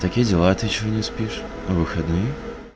такие дела а ты что не спишь выходные